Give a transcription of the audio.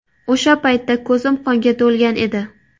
O‘sha paytda ko‘zim qonga to‘lgan edi.